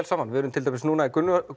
saman við erum til dæmis núna í